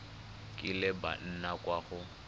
kileng ba nna kwa go